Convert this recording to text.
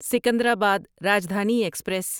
Secunderabad Rajdhani express